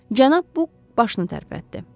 Cənab Bu başını tərpətdi.